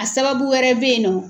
A sababu wɛrɛ bɛ yen nɔ.